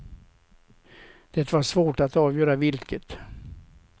Det var svårt att avgöra vilket.